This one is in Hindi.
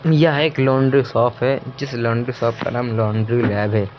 यह एक लॉन्ड्री शॉप है जिस लॉन्ड्री शॉप का नाम लॉन्ड्री लैब है।